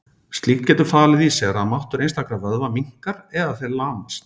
Slíkt getur falið í sér að máttur einstakra vöðva minnkar eða þeir lamast.